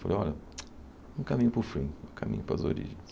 Falei, olha, um caminho para o fim, um caminho para as origens.